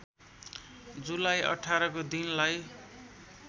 जुलाई १८ को दिनलाई